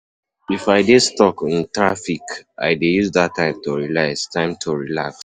If I dey stuck in traffic, I dey use that time to relax. time to relax.